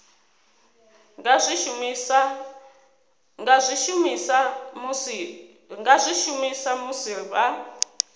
nga zwi shumisa musi vha